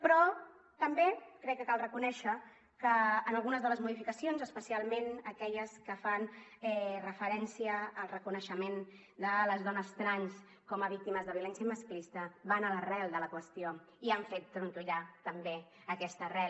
però també crec que cal reconèixer que en algunes de les modificacions especialment aquelles que fan referència al reconeixement de les dones trans com a víctimes de violència masclista van a l’arrel de la qüestió i han fet trontollar també aquesta arrel